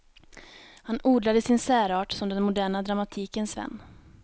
Han odlade sin särart som den moderna dramatikens vän.